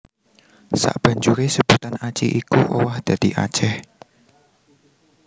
Sabanjuré sebutan Aci iku owah dadi Aceh